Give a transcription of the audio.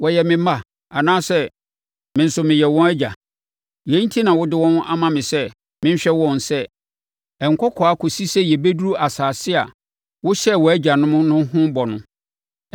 Wɔyɛ me mma anaasɛ me nso meyɛ wɔn agya? Yei enti na wode wɔn ama me sɛ menhwɛ wɔn sɛ nkɔkoaa kɔsi sɛ yɛbɛduru asase a wohyɛɛ wɔn agyanom ho bɔ no?